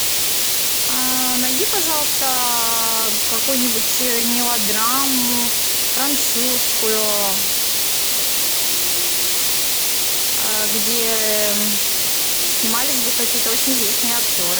найди пожалуйста какую нибудь мелодраму французскую где снимались бы какие то очень известные актеры